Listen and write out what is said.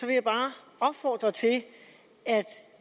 jeg bare opfordre til at